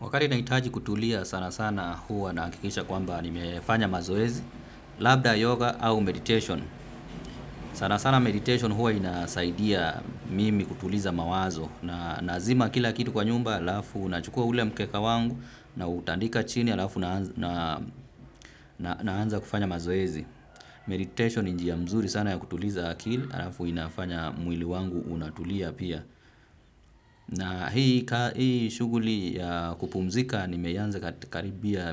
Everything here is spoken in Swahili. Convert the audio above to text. Wakali naitaji kutulia sana sana huwa na hakikisha kwamba nimefanya mazoezi, labda yoga au meditation. Sana sana meditation huwa inasaidia mimi kutuliza mawazo. Na nazima kila kitu kwa nyumba alafu nachukua ule mkeka wangu na utandika chini alafu na anza kufanya mazoezi. Meditation ni njia mzuri sana ya kutuliza akili alafu inafanya mwili wangu unatulia pia. Na hii shuguli ya kupumzika nimeianza karibia